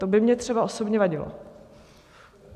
To by mně třeba osobně vadilo.